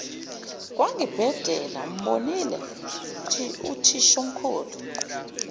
kwangibhedela umbonile uthishomkhulu